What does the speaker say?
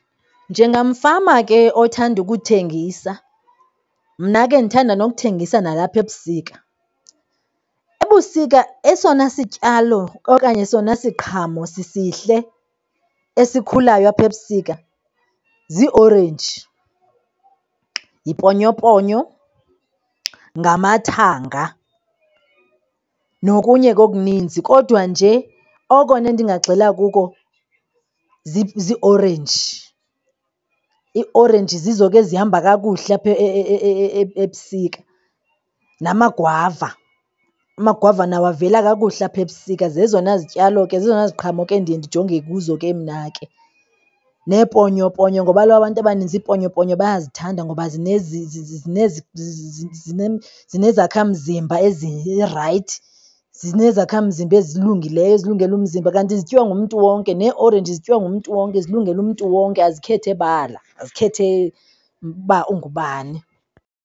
Njengamfama ke othanda ukuthengisa mna ke ndithanda nokuthengisa nalapha ebusika. Ebusika esona sityalo okanye esona siqhamo sisihle esikhulayo apha ebusika ziiorenji, yiponyoponyo, ngamathanga xa nokunye ke okuninzi. Kodwa nje okona ndingagxila kuko ziiorenji. Iiorenji zizo ke ezihamba kakuhle apha ebusika, namagwava, amagwava nawo avela kakuhle apha ebusika. Zezona zityalo ke, zezona ziqhamo ke ndiye ndijonge kuzo ke mna ke. Neeponyoponyo ngoba kaloku abantu abaninzi iponyoponyo bayazithanda ngoba zinezakhamzimba ezirayithi, zinezakhamzimba ezilungileyo ezilungele umzimba kanti zityiwa ngumntu wonke. Neeorenji zityiwa ngumntu wonke, zilungele umntu wonke, azikhethi bala, azikhethi uba ungubani.